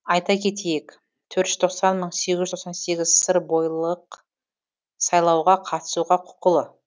айта кетейік төрт жүз тоқсан мың сегіз жүз тоқсан сегіз сырбойылық сайлауға қатысуға құқылы